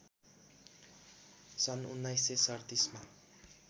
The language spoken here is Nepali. सन् १९३७ मा